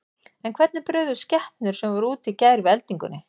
En hvernig brugðust skepnur sem voru úti í gær við eldingunni?